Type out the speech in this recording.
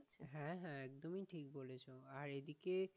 হ্যাঁ হ্যাঁ এগুলো ঠিক বলেছো, আর এদিকে,